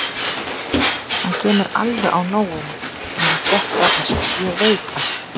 Hann kemur alveg á nóinu þegar hann fréttir af þessu, ég veit það.